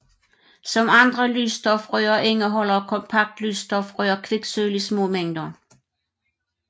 Som andre lysstofrør indeholder kompaktlysstofrør kviksølv i små mængder